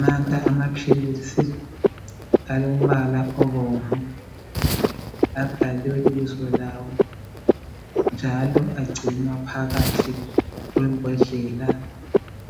Nanka amaphilisi alombala obomvu abhaliwe ibizo lawo njalo agcinwa phakathi kwembodlela